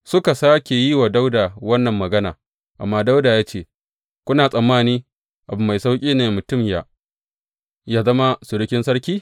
Suka sāke yi wa Dawuda wannan magana amma Dawuda ya ce, Kuna tsammani abu mai sauƙi ne mutum yă zama surukin sarki?